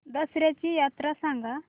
दसर्याची यात्रा सांगा